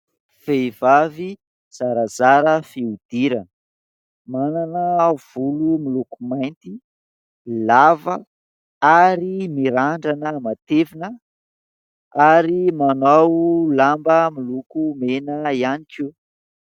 Vehivavy zarazara fihodirana, manana volo miloko mainty lava ary mirandrana matevina arymanao lamba miloko mena ihany koa.